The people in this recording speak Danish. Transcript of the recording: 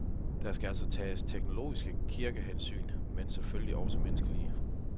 Der skal altså tages teologiske, kirkelige hensyn, men selvfølgelig også menneskelige.